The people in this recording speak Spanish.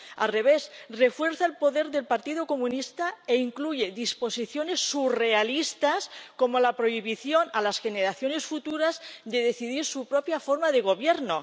Al revés, refuerza el poder del Partido Comunista e incluye disposiciones surrealistas, como la prohibición a las generaciones futuras de decidir su propia forma de gobierno.